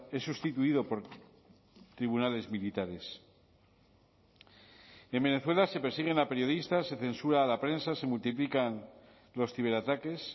es sustituido por tribunales militares en venezuela se persiguen a periodistas se censura a la prensa se multiplican los ciberataques